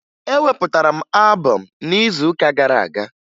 Ewepụtara m aabọm n'izuụka gara aga